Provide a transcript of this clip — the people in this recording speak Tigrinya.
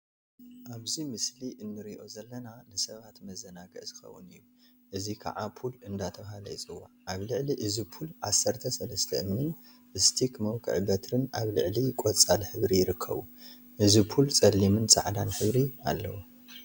አብዚ ምስሊ እንሪኦ ዘለና ንሰባት መዘናግዒ ዝኸውን እዩ፡፡ እዚ ከዓ ፑል እናተብሃለ ይፅዋዕ፡፡ አብ ልዕሊ እዚ ፑል ዓሰርተ ሰለስተ እምኒን ስቲክ መውቂ በትሪን አብ ልዕሊ ቆፃል ሕብሪ ይርከቡ፡፡ እዚ ፑል ፀሊምን ፃዕዳን ሕብሪ አለዎ፡፡